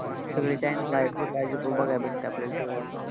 सगळे channels आहेत. जे पाहिजे तो बघायला भेटतं आपल्याला TV वर.